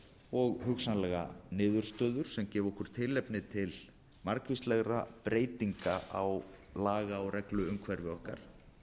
og hugsanlega niðurstöður sem gefa okkur tilefni til margvíslegra breytinga á laga og regluumhverfi okkar